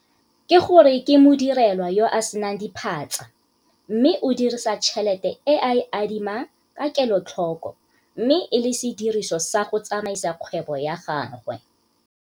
Ke go re ke modirelwa yo a se nang diphatsa mme o dirisa tšhelete e a e adimang ka kelotlhoko mme e le sediriso sa go tsamaisa kgwebo ya gagwe.